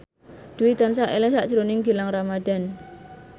Dwi tansah eling sakjroning Gilang Ramadan